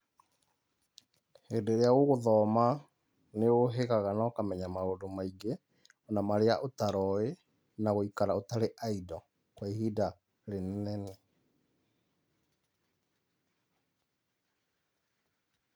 Hĩndĩ iria ũgũthoma, niũhigaga na ũkamenya maũndũ maingúĩ ona marĩa utaroĩ, na gũikara ũtarĩ idle kwa ihinda rĩnene.